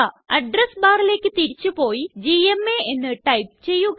address barലേയ്ക്ക് തിരിച്ചുപോയി GMA എന്ന് ടൈപ്പ് ചെയ്യുക